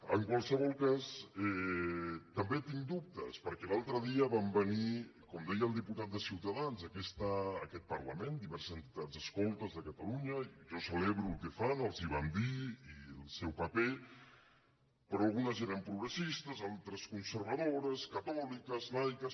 en qualsevol cas també tinc dubtes perquè l’altre dia van venir com deia el diputat de ciutadans a aquest parlament diverses entitats escoltes de catalunya i jo celebro el que fan els ho vam dir i el seu paper però algunes eren progressistes altres conservadores catòliques laiques